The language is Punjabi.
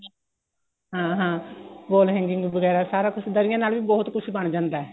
ਹਾਂ ਹਾਂ wall hanging ਵਗੈਰਾ ਸਾਰਾ ਕੁੱਝ ਦਰੀਆਂ ਨਾਲ ਵੀ ਬਹੁਤ ਕੁੱਝ ਬਣ ਜਾਂਦਾ ਏ